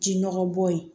Ji nɔgɔ bɔ ye